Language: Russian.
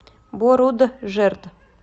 боруджерд